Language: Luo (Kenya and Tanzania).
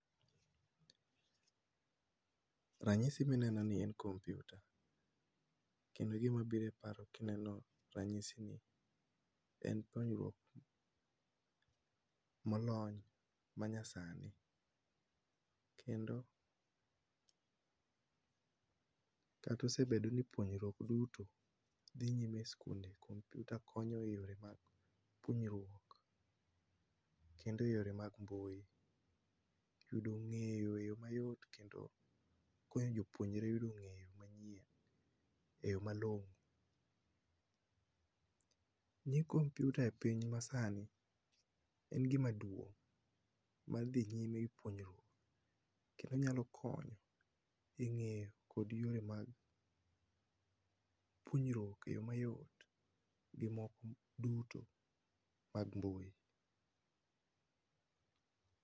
Ranyisi mineno ni en kompiuta. Kendo gima biro e paro kineno ranyisini en konyruok molony manyasani kendo kata osebedo ni puonjruok duto dhi nyime e sikunde kompiuta konyo e yore mag puonjruok kendo eyore mag mbui. Yudo ng'eyo e yo mayot kendo puonjo jopuonjre e ng'eyo manyien kendo eyo malong'o. Ni kompiuta e piny masani en gima duong' mar dhi nyime e puonjruok kendo nyalo konyo e dhi ng'eyo kod yore mag puonjruok eyo mayot gi weche mag mbui.